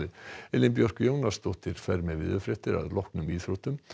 Elín Björk Jónasdóttir fer með veðurfregnir að loknum íþróttum